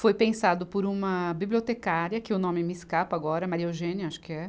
Foi pensado por uma bibliotecária, que o nome me escapa agora, Maria Eugênia, acho que é.